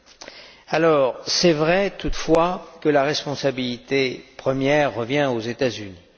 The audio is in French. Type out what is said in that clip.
Il est vrai, toutefois, que la responsabilité première revient aux États Unis.